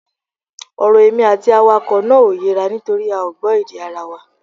Ọ̀rọ̀ èmi àti awakọ̀ náà ò yéra nítorí a ò gbọ́ èdè ara wa